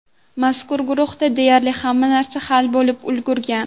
Mazkur guruhda deyarli hamma narsa hal bo‘lib ulgurgan.